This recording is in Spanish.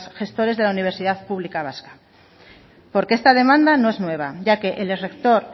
gestores de la universidad pública vasca porque esta demanda no es nueva ya que el rector